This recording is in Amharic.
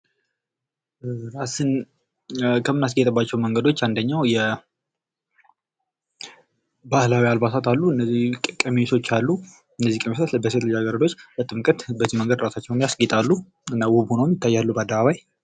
ራስን ከምናስጌጥባቸው መንገዶች አንደኛው የባህላዊ አልባሳት አሉ እነዚህ ቀሚሶች አሉ እነዚህ ቀሚሶች በሴት ልጃ ገረዶች በጥምቀት በዚህ መንገድ ራሳቸውን ያስጌጣሉ እና ውብ ሁነው ይታያሉ በአደባባይ ።